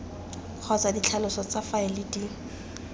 kgotsa ditlhaloso tsa faele di